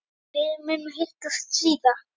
Við munum hittast síðar.